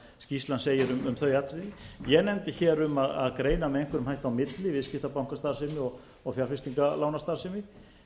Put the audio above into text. skýrslan segir um þau atriði ég nefndi hér um að greina með einhverjum hætti á milli viðskiptabankastarfsemi og fjárfestinga lánastarfsemi